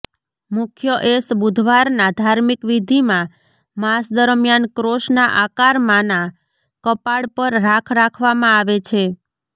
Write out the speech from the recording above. મુખ્ય એશ બુધવારના ધાર્મિક વિધિમાં માસ દરમિયાન ક્રોસના આકારમાંના કપાળ પર રાખ રાખવામાં આવે છે